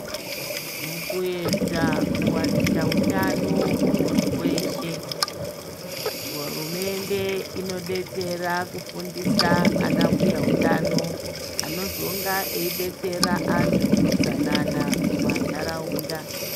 Mukuedza kuwanisa utano kumuntu weshe, hurumende inodetsera kufundisa ana mbuyahutano anozonga aidetsera antu utsanana mumanharaunda.